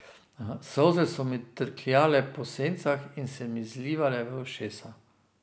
Solze so mi trkljale po sencih in se mi zlivale v ušesa.